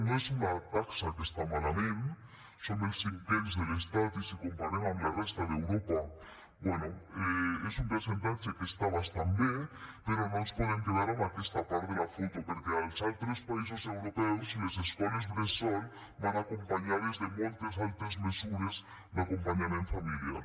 no és una taxa que està malament som els cinquens de l’estat i si ho comparem amb la resta d’europa bé és un percentatge que està bastant bé però no ens podem quedar amb aquesta part de la foto perquè als altres països europeus les escoles bressol van acompanyades de moltes altres mesures d’acompanyament familiar